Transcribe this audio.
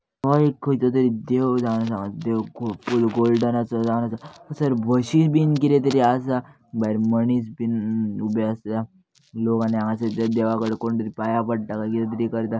हो एक खंयचो तरी देव जावन आसा देव पुरो गोल्डनाचो आसा सर बशी बिन किदेतरी आसा भायर मनीस बिन उभे आसा लोक आणि हांगासर ते देवाकडे कोणतरी पाया पडटा काय किदेतरी करता.